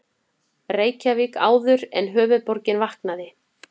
Reykjavík áður en höfuðborgin vaknaði.